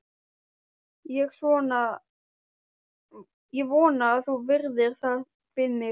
Ég vona að þú virðir það við mig.